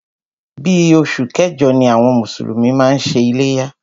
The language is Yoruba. Bí oṣù kẹjọ ni àwọn mùsùlùmí máa ń ṣe iléyá.